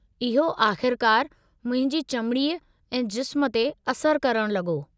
इहो आख़िरकार मुंहिंजी चमड़ीअ ऐं जिस्म ते असर करण लॻो।